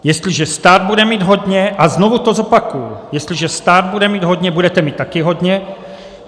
Jestliže stát bude mít hodně - a znovu to zopakuji, jestliže stát bude mít hodně - budete mít taky hodně.